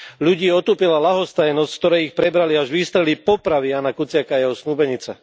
Ľudí otupila ľahostajnosť, z ktorej ich prebrali až výstrely popravy Jána Kuciaka a jeho snúbenice.